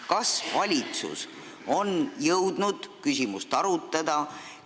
Kas valitsus on jõudnud küsimust arutada?